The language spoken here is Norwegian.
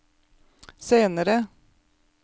senere